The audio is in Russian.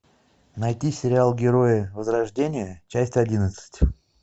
найти сериал герои возрождение часть одиннадцать